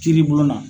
Kiiri bulon na